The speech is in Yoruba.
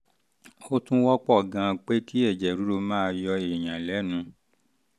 ó tún wọ́pọ̀ gan-an pé kí ẹ̀jẹ̀ ríru máa yọ èèyàn lẹ́nu